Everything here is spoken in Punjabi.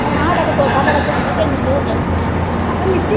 ਭੈਣਾਂ ਹਾਡਾ ਤੇ ਕੋਠਾ ਬੜਾ ਚੋਂਦਾ ਤੈਨੂੰ ਕੀ ਹੋ ਗਿਆ